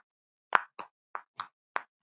Synir: Brynjar og Bjarki.